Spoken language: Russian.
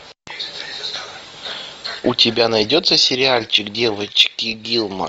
у тебя найдется сериальчик девочки гилмор